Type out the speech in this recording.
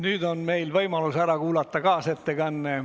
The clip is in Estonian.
Nüüd on meil võimalus ära kuulata kaasettekanne.